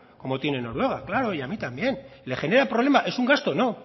como tiene noruega claro y a mí también le genera problema es un gasto no